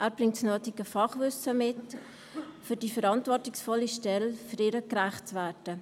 Er bringt das nötige Fachwissen mit, um dieser verantwortungsvollen Stelle gerecht zu werden.